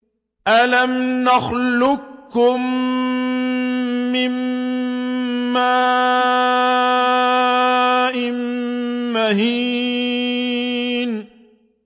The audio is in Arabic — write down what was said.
أَلَمْ نَخْلُقكُّم مِّن مَّاءٍ مَّهِينٍ